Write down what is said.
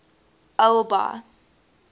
albi